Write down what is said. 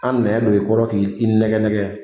An nɛn don i kɔrɔ k'i i nɛgɛ nɛgɛ